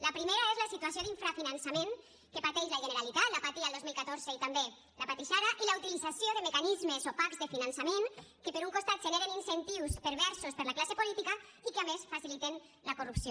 la primera és la situació d’infrafinançament que pateix la generalitat la patia el dos mil catorze i també la pateix ara i la utilització de mecanismes opacs de finançament que per un costat generen incentius perversos per a la classe política i que a més faciliten la corrupció